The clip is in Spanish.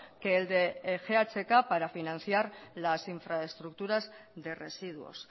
que el de ghk para financiar las infraestructuras de residuos